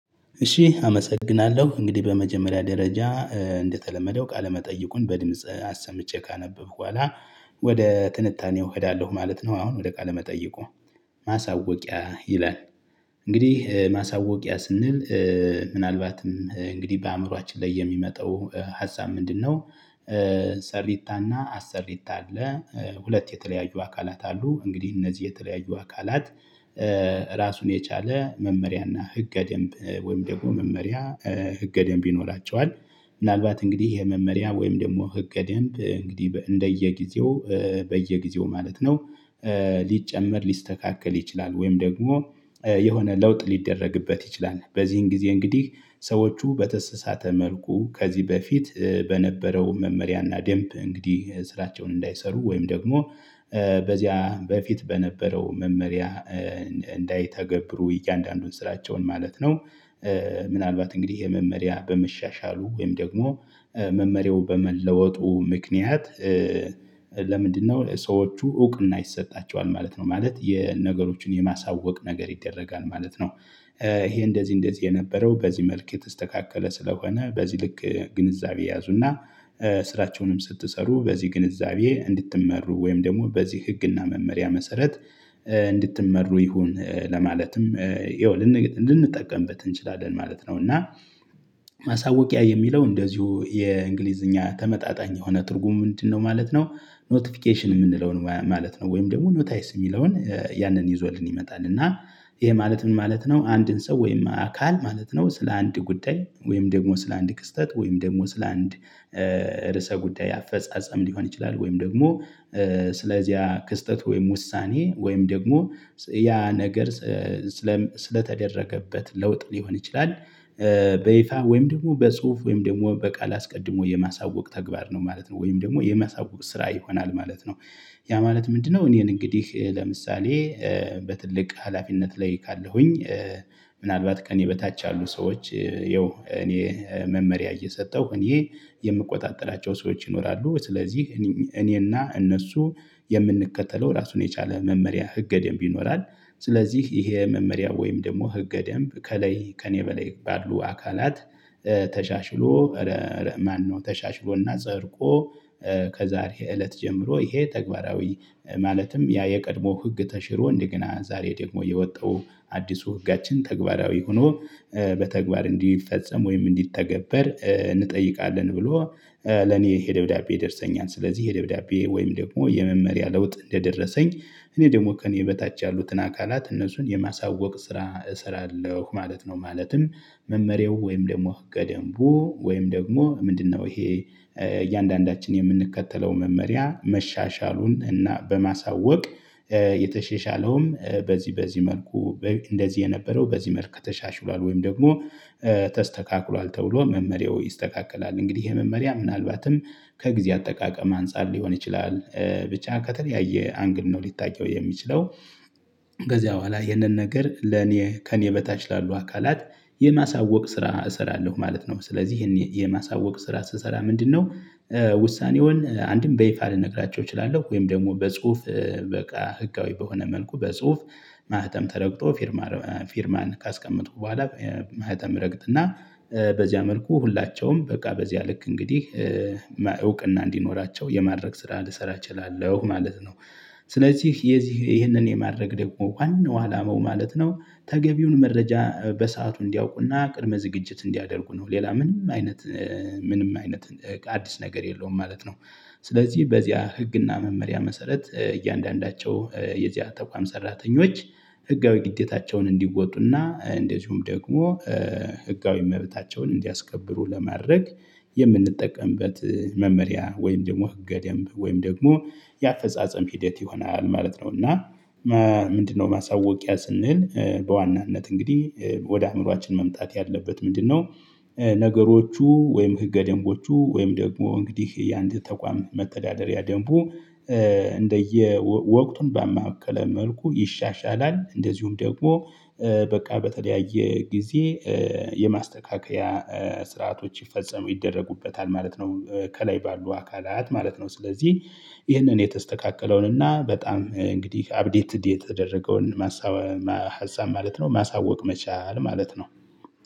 እሺ አመሰግናለሁ እንግዲህ በመጀመሪያ ደረጃ እንደተለመደው ቃለመጠይቁን በድምጽ አሰምቼ ካነበብኩ በኋላ ወደ ጥንታኔው እሄዳለሁ ማለት ነው። አሁን ወደ ቃለ መጠይቁ። ማሳወቂያ ይላል። እንግዲህ ማሳወቂያ ስንል ምናልባትም እንግዲህ በአእምሮአችን ላይ የሚመጣው ሀሳብ ምንድነው? ሰሪታና አሰሪታ አለ። ሁለት የተለያዩ አካላት አሉ እንግዲህ እነዚህ የተለያዩ አካላት። ራሱን የቻለ መመሪያና ህገ ደንብ ወይም ደግሞ መመሪያ ህገ ደንብ ይኖራቸዋል። ምናልባት እንግዲህ ይሄ መመሪያ ወይም ደግሞ ህገ ደንብ እንግዲህ እንደየጊዜው በየጊዜው ማለት ነው። ሊጨመር ሊስተካከል ይችላል ወይም ደግሞ የሆነ ለውጥ ሊደረግበት ይችላል። በዚህን ጊዜ እንግዲህ ሰዎቹ በተሰሳተ መልኩ ከዚህ በፊት በነበረው መመሪያና ደንብ እንግዲህ ስራቸውን እንዳይሰሩ ወይም ደግሞ በዚያ በፊት በነበረው መመሪያ እንዳይተገብሩ እያንዳንዱን ስራቸውን ማለት ነው። ምናልባት እንግዲህ ይሄ መመሪያ በመሻሻሉ ወይም ደግሞ መመሪያው በመለወጡ ምክንያት። ለምንድነው ሰዎቹ እውቅና ይሰጣቸዋል ማለት ነው ማለት የነገሮችን የማሳወቅ ነገር ይደረጋል ማለት ነው። ይሄ እንደዚህ እንደዚህ የነበረው በዚህ መልክ የተስተካከለ ስለሆነ በዚህ ልክ ግንዛቤ ያዙና። ስራቸውንም ስትሰሩ በዚህ ግንዛቤ እንድትመሩ ወይም ደግሞ በዚህ ህግና መመሪያ መሰረት እንድትመሩ ይሁን ለማለትም ይኸው ልንጠቀምበት እንችላለን ማለት ነው። እና ማሳወቂያ የሚለው እንደዚሁ የእንግሊዝኛ ተመጣጣኝ የሆነ ትርጉም ምንድነው ማለት ነው? ኖቲፊኬሽን የምንለውን ማለት ነው ወይም ደግሞ ኖታይስ የሚለውን ያንን ይዞልን ይመጣል። እና ይሄ ማለት ምን ማለት ነው? አንድን ሰው ወይም አካል ማለት ነው ስለ አንድ ጉዳይ ወይም ደግሞ ስለ አንድ ክስተት ወይም ደግሞ ስለ አንድ ርዕሰ ጉዳይ አፈጻጸም ሊሆን ይችላል። ወይም ደግሞ ስለዚህ ያ ክስተት ወይም ውሳኔ ወይም ደግሞ ያ ነገር ስለተደረገበት ለውጥ ሊሆን ይችላል። በይፋ ወይም ደግሞ በጽሁፍ ወይም ደግሞ በቃል አስቀድሞ የማሳወቅ ተግባር ነው ማለት ነው ወይም ደግሞ የማሳወቅ ስራ ይሆናል ማለት ነው። ያ ማለት ምንድነው? እኔን እንግዲህ ለምሳሌ በትልቅ ሀላፊነት ላይ ካለሁኝ። ምናልባት ከእኔ በታች ያሉ ሰዎች ይኸው እኔ መመሪያ እየሰጠሁ እኔ የምቆጣጠላቸው ሰዎች ይኖራሉ። ስለዚህ እኔና እነሱ የምንከተለው ራሱን የቻለ መመሪያ ህገ ደንብ ይኖራል። ስለዚህ ይሄ መመሪያ ወይም ደግሞ ህገ ደንብ ከላይ ከእኔ በላይ ባሉ አካላት። ተሻሽሎ ማነው? ተሻሽሎና ጸርቆ። ከዛሬ እለት ጀምሮ ይሄ ተግባራዊ ማለትም ያ የቀድሞ ህግ ተሽሮ እንዲገና ዛሬ ደግሞ የወጣው አዲሱ ህጋችን ተግባራዊ ሆኖ። በተግባር እንዲፈጸም ወይም እንዲተገበር እንጠይቃለን ብሎ ለኔ ይሄ ደብዳቤ ደርሰኛል። ስለዚህ ይሄ ደብዳቤ ወይም ደግሞ የመመሪያ ለውጥ እንደደረሰኝ እኔ ደግሞ ከእኔ በታች ያሉትን አካላት እነሱን የማሳወቅ ስራ እሰራለሁ ማለት ነው። ማለትም መመሪያው ወይም ደግሞ ህገ ደንቡ ወይም ደግሞ ምንድነው? ይሄ እያንዳንዳችን የምንከተለው መመሪያ መሻሻሉን እና በማሳወቅ የተሸሻለውም በዚህ በዚህ መልኩ እንደዚህ የነበረው በዚህ መልኩ ተሻሽሏል። ወይም ደግሞ ተስተካክሏል ተብሎ መመሪያው ይስተካከላል እንግዲህ ይሄ መመሪያ ምናልባትም ከጊዜ አጠቃቀም አንፃር ሊሆን ይችላል ብቻ ከተለያየ አንግድ ነው ሊታየው የሚችለው። ከዚያ በኋላ ይህንን ነገር ለኔ ከኔ በታች ላሉ አካላት የማሳወቅ ስራ እሰራለሁ ማለት ነው። ስለዚህ ይሄን የማሳወቅ ስራ ስሰራ ምንድነው? ውሳኔውን አንድም በይፋ ልነግራቸው እችላለሁ ወይም ደግሞ በጽሁፍ በቃ ህጋዊ በሆነ መልኩ በጽሁፍ ማህተም ተረግጦ ፊርማ ፊርማን ካስቀመጥሁ በኋላ ማህተም ረግጥና በዚያ መልኩ ሁላቸውም በቃ በዚያ ልክ እንግዲህ እውቅና እንዲኖራቸው የማድረግ ስራ ልሰራ እችላለሁ ማለት ነው። ስለዚህ የዚህ ይህንን የማድረግ ደግሞ ዋናው አላማው ማለት ነው። ተገቢውን መረጃ በሰአቱ እንዲያውቁና ቅድመ ዝግጅት እንዲያደርጉ ነው። ሌላ ምንም አይነት ምንም አይነት አዲስ ነገር የለውም ማለት ነው። ስለዚህ በዚህ ህግና መመሪያ መሰረት እያንዳንዳቸው የዚያ ተቋም ሰራተኞች ህጋዊ ግዴታቸውን እንዲወጡና እንደዚሁም ደግሞ ህጋዊ እመቤታቸውን እንዲያስከብሩ ለማድረግ የምንጠቀምበት መመሪያ ወይም ደግሞ ህገ ደንብ ወይም ደግሞ የአፈጻጸም ሂደት ይሆናል ማለት ነው። እና ምንድነው ማሳወቂያ ስንል በዋናነት እንግዲህ ወደ አእምሮአችን መምጣት ያለበት ምንድነው? ነገሮቹ ወይም ህገ ደንቦቹ ወይም ደግሞ እንግዲህ የአንድ ተቋም መተዳደሪያ ደንቡ። እንደየ ወቅቱን ባመከለ መልኩ ይሻሻላል። እንደዚሁም ደግሞ በቃ በተለያየ ጊዜ የማስተካከያ ስርዓቶች ይፈጸሙ ይደረጉበታል ማለት ነው። ከላይ ባሉ አካላት ማለት ነው። ስለዚህ ይህንን የተስተካከለውን እና በጣም እንግዲህ አፕዴትድ የተደረገውን ማሳወቅ ሀሳብ ማለት ነው ማሳወቅ መቻል ማለት ነው።